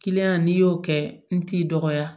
n'i y'o kɛ n t'i dɔgɔya